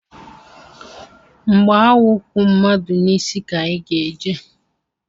Mgbe anwụ kwụ madu n'isi ka anyị ga-eje